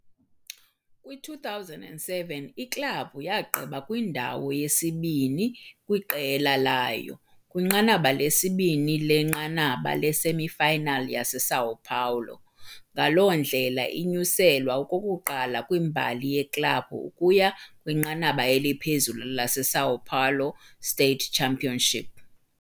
Kwi-2007, iklabhu yagqiba kwindawo yesibini kwiqela layo kwiNqanaba leSibini leNqanaba leSemifinal yaseSão Paulo, ngaloo ndlela inyuselwa okokuqala kwimbali yeklabhu ukuya kwiNqanaba eliPhezulu le-São Paulo State Championship.